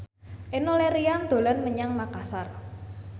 Enno Lerian dolan menyang Makasar